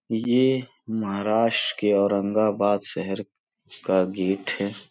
यह महाराष्ट्र के औरंगाबाद शहर का गेट है।